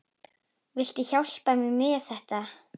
Viltu hjálpa mér með þetta?